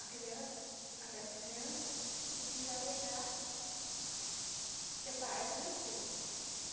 A crian, aquelas crianças podiam ir lá pegar e ser pais adotivos